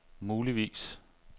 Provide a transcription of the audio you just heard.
muligvis